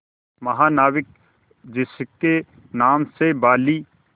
महानाविक जिसके नाम से बाली